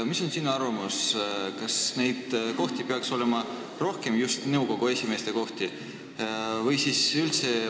Mis on sinu arvamus, kas selliseid nõukogu esimeeste kohti peaks olema rohkem või vastupidi, sellise kohustuse peaks kaotama?